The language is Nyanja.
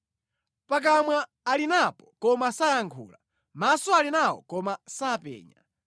Pakamwa ali napo koma sayankhula, maso ali nawo koma sapenya;